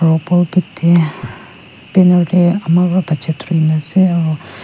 aro pulpit teh ama wa bacha durina ase aru.